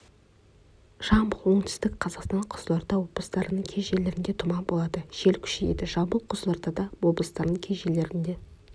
жамбыл оңтүстік қазақстан қызылорда облыстарының кей жерлерінде тұман болады жел күшейеді жамбыл қызылорда облыстарының кей жерлерінде